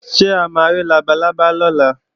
Ṣé a ma rí labalábá lọ́la?